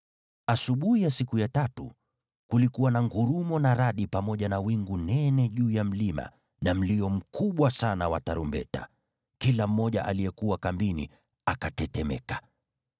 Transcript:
Asubuhi ya siku ya tatu kulikuwa na ngurumo na radi pamoja na wingu nene juu ya mlima na mlio mkubwa sana wa tarumbeta. Kila mmoja aliyekuwa kambini akatetemeka.